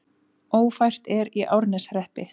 Ófært er í Árneshreppi